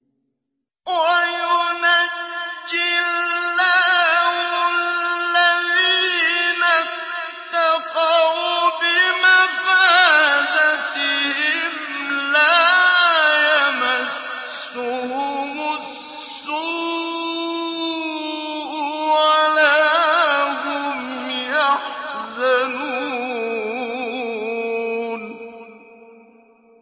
وَيُنَجِّي اللَّهُ الَّذِينَ اتَّقَوْا بِمَفَازَتِهِمْ لَا يَمَسُّهُمُ السُّوءُ وَلَا هُمْ يَحْزَنُونَ